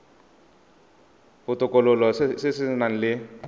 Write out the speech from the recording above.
botokololo se se nang le